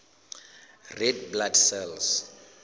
red blood cells